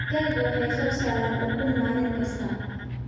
Digaagga waxay soo saaraan ukun maalin kasta.